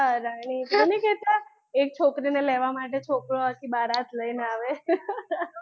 હા રાણી પેલું નહીં કેતા એક છોકરી ને લેવાં માટે છોકરો આખી બારાત લઈને આવે